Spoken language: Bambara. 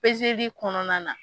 kɔnɔna na.